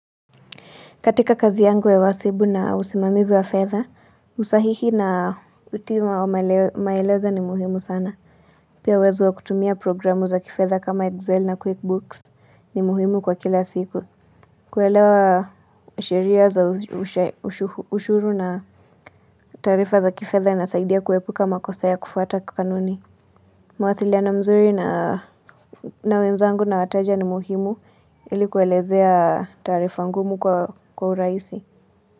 Katika kazi yangu ya uhasibu na usimamizi wa fedha, usahihi na kutii maelezo ni muhimu sana. Pia uwezo wa kutumia programu za kifedha kama Excel na QuickBooks ni muhimu kwa kila siku. Kuelewa sheria za ushuru na taarifa za kifedha inasaidia kuepukaa makosa ya kufuata kanuni. Mawasiliano mzuri na wenzangu na wateja ni muhimu ili kuwaelezea tarifa ngumu kwa urahisi.